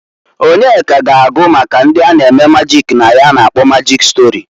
Onyeka ga-agụ maka ndị a na-eme majik na ya a na-akpọ majịk stori.